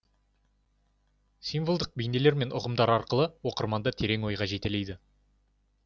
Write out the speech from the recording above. символдық бейнелер мен ұғымдар арқылы оқырманды терең ойға жетелейді